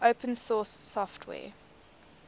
open source software